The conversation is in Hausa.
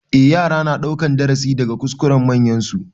Eh, yara na ɗaukan darasi daga kuskuren manyansu.